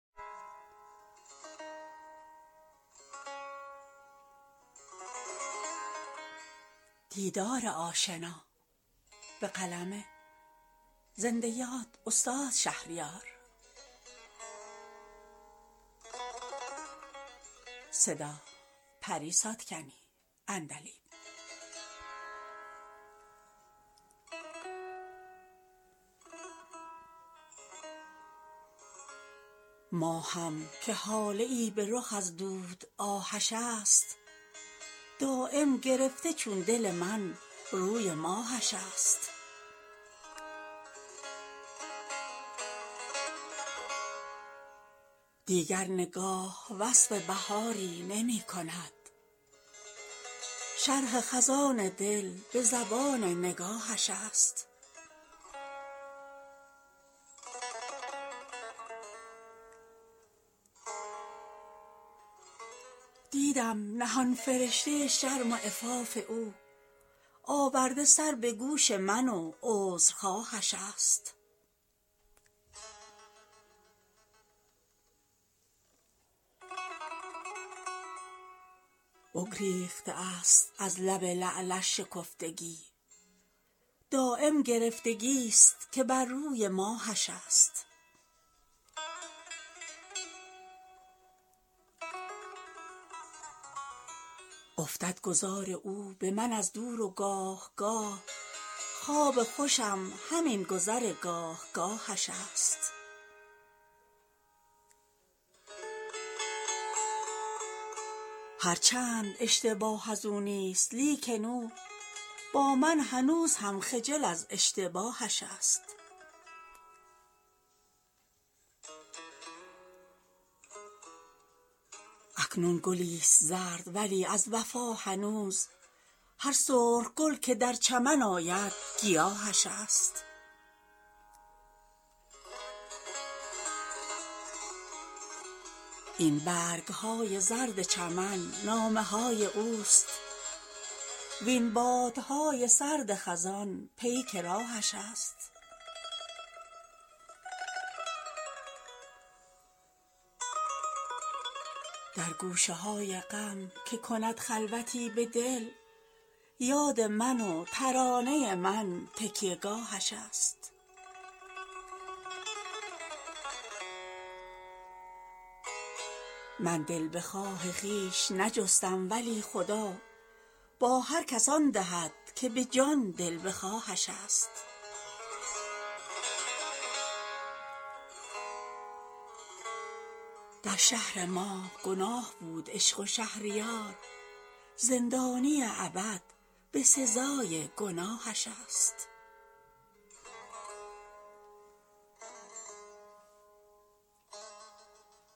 ماهم که هاله ای به رخ از دود آهش است دایم گرفته چون دل من روی ماهش است دیگر نگاه وصف بهاری نمی کند شرح خزان دل به زبان نگاهش است راه نگاه بست به چشم سیه که دید موی دماغ ها همه جا خار راهش است دیدم نهان فرشته شرم و عفاف او آورده سر به گوش من و عذرخواهش است روز سیاه دیده به چشم و به قول خود دود اجاق سرمه چشم سیاهش است دیگر نمی زند به سر زلف شانه ای وآن طره خود حکایت عمر تباهش است بگریخته است از لب لعلش شکفتگی دایم گرفتگی است که بر روی ماهش است افتد گذار او به من از دور و گاهگاه خواب خوشم همین گذر گاهگاهش است هر چند اشتباه از او نیست لیکن او با من هنوز هم خجل از اشتباهش است اکنون گلی است زرد ولی از وفا هنوز هر سرخ گل که در چمن آید گیاهش است این برگ های زرد چمن نامه های اوست وین بادهای سرد خزان پیک راهش است در گوشه های غم که کند خلوتی به دل یاد من و ترانه من تکیه گاهش است من دل بخواه خویش نجستم ولی خدا با هر کس آن دهد که به جان دل بخواهش است من کیستم اسیر محبت گدای عشق وز ملک دل که حسن و هنر پادشاهش است در شهر ما گناه بود عشق و شهریار زندانی ابد به سزای گناهش است